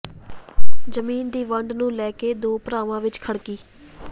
ਜ਼ਮੀਨ ਦੀ ਵੰਡ ਨੂੰ ਲੈ ਕੇ ਦੋ ਭਰਾਵਾਂ ਵਿੱਚ ਖੜਕੀ